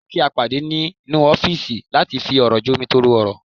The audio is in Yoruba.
Jẹ́ kí a pàdé ní nínú ọ́fìsì láti fi ọ̀rọ̀ jomitoro ọ̀rọ̀